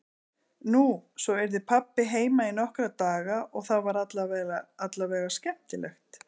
Nú, svo yrði pabbi heima í nokkra daga og það var allavega skemmtilegt.